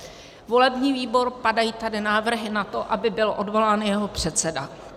Volební výbor - padají tady návrhy na to, aby byl odvolán jeho předseda.